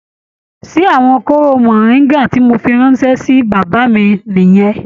Ṣé àwọn kooro moringa tí mó fí ránṣẹ sí bàbá mí nìyẹn?